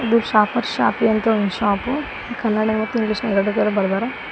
ಇದು shoppers shoppy ಅಂತ ಒಂದು ಶಾಪು ಕನ್ನಡ ಮತ್ತು ಇಂಗ್ಲಿಷ್ ಎರಡರಾಗು ಬರ್ದಾರ.